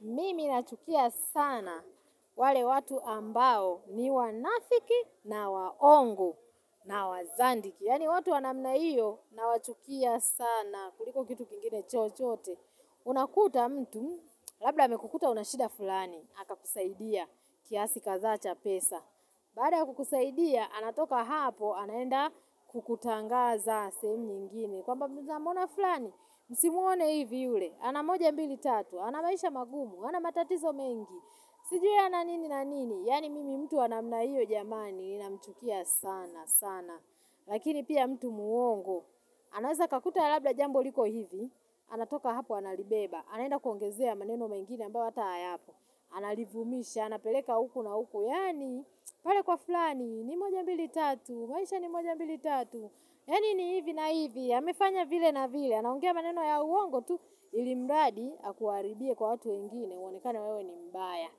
Mimi nachukia sana wale watu ambao ni wanafiki na waongo na wazandiki. Yani watu wa namna iyo na wachukia sana kuliko kitu kingine chochote. Unakuta mtu, labda amekukuta unashida fulani, akakusaidia kiasi kadhaa cha pesa. Baada kukusaidia, anatoka hapo, anaenda kukutangaza sehemu nyingine. Kwamba munamuona flani, msimuone hivi ule, anamoja mbili tatu, anamaisha magumu, anamatatizo mengi Sijui ananini na nini, yaani mimi mtu wa namna hiyo jamani, ninamchukia sana sana Lakini pia mtu muongo, anaweza kakuta labda jambo liko hivi, anatoka hapo analibeba Anaenda kuongezea maneno mengine ambayo hata hayapo Analivumisha, anapeleka huku na huku, yaani pale kwa flani, ni moja mbili tatu, maisha ni moja mbili tatu Yaani ni hivi na hivi, amefanya vile na vile, anaongea maneno ya uongo tu ilimradi akuaribie kwa watu wengine, uonekane wewe ni mbaya.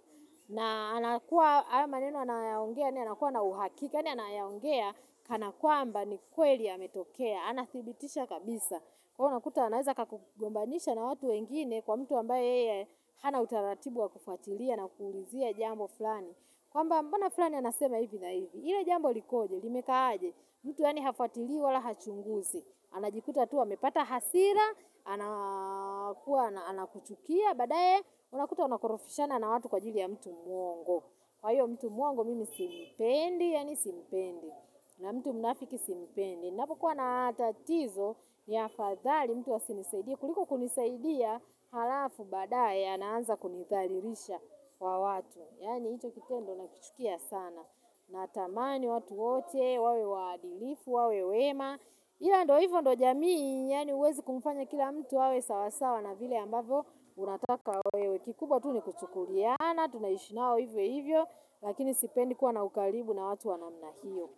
Na anakuwa haya maneno anayaongea ni anakuwa na uhakika yaani anayaongea kana kwamba ni kweli yametokea, anathibitisha kabisa. Wewe unakuta anaweza kakugombanisha na watu wengine kwa mtu ambaye yeye hana utaratibu wa kufuatilia na kuulizia jambo flani. Kwamba mbona fulani anasema hivi na hivi, ile jambo likoje, limeka aje, mtu yaani hafuatili wala hachunguzi, anajikuta tu amepata hasira, anakuwa anakuchukia, badaye unakuta unakorofishana na watu kwa jili ya mtu muongo. Kwa hiyo mtu muongo mimi simpendi, yaani simpendi. Na mtu mnafiki simpendi. Napokuwa na tatizo, ni afadhali mtu asinisaidie. Kuliko kunisaidia, halafu badae anaanza kunitharirisha kwa watu. Yani hicho kitendo na kichukia sana. Natamani watu wote, wawe waadilifu, wawe wema. Ila ndio hivyo ndio jamii, yaani huwezi kumfanya kila mtu awe sawasawa na vile ambavyo. Unataka wewe kikubwa tu ni kuchukuliana Tunaishinao hivyo hivyo Lakini sipendi kuwa na ukaribu na watu wa namna hiyo.